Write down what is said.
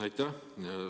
Aitäh!